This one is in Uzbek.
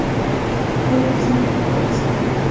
Bu bizning xatomiz edi.